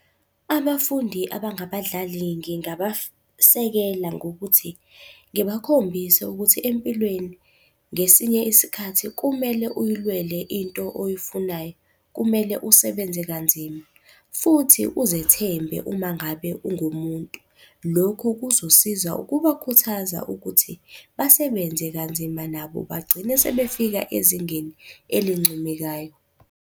Abafundi abangabadlali ngingabasekela ngokuthi ngibakhombise ukuthi empilweni, ngesinye isikhathi kumele uy'lwele into oyifunayo. Kumele usebenze kanzima, futhi uzethembe uma ngabe ungumuntu. Lokhu kuzosiza ukubakhuthaza ukuthi basebenze kanzima nabo bagcine sebefika ezingeni elincomekayo.